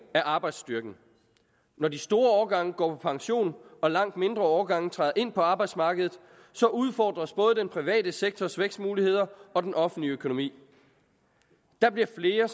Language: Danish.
er arbejdsstyrken når de store årgange går på pension og langt mindre årgange træder ind på arbejdsmarkedet udfordres både den private sektors vækstmuligheder og den offentlige økonomi der bliver flere